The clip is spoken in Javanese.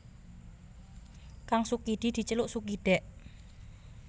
Kang Sukidi diceluk Sukidèk